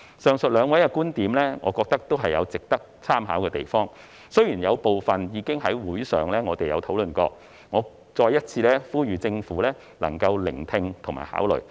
上述兩位的觀點，我覺得也有值得參考之處，雖然有部分已在會議上討論過，但我想再次呼籲政府聆聽和考慮。